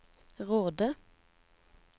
Råde